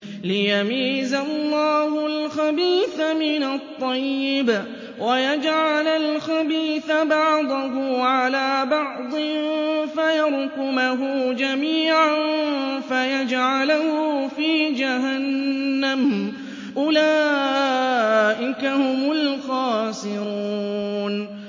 لِيَمِيزَ اللَّهُ الْخَبِيثَ مِنَ الطَّيِّبِ وَيَجْعَلَ الْخَبِيثَ بَعْضَهُ عَلَىٰ بَعْضٍ فَيَرْكُمَهُ جَمِيعًا فَيَجْعَلَهُ فِي جَهَنَّمَ ۚ أُولَٰئِكَ هُمُ الْخَاسِرُونَ